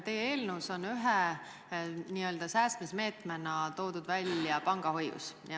Teie eelnõus on ühe n-ö säästmismeetmena toodud välja pangahoius.